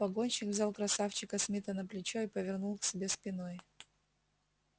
погонщик взял красавчика смита на плечо и повернул к себе спиной